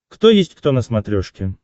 кто есть кто на смотрешке